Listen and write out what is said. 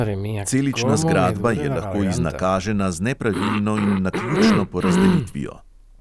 Celična zgradba je lahko iznakažena z nepravilno in naključno porazdelitvijo.